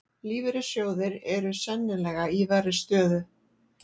Lífeyrissjóðir eru sennilega í verri stöðu